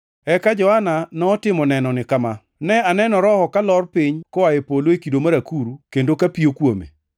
Eka Johana notimo nenoni kama: “Ne aneno Roho kalor piny koa e polo e kido mar akuru kendo kapiyo kuome.